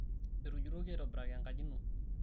etujutoki aitobiraki enkaji ino